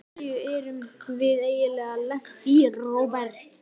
Í hverju erum við eiginlega lent, Róbert?